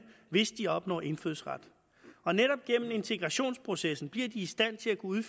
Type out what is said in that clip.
hvis de opnåede indfødsret og netop gennem integrationsprocessen bliver de i stand til at kunne